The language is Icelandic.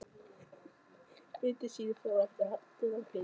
Myndin sýnir far eftir aldin af hlyni.